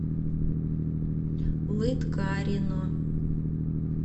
лыткарино